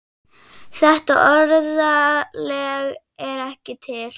Þetta orðalag er ekki til.